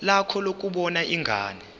lakho lokubona ingane